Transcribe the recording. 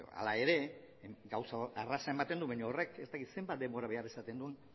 hala ere gauza erreza ematen du baina horrek ez dakit zenbat denbora behar izaten duen